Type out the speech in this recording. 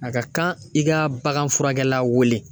A ka kan i ka bagan furakɛ la weele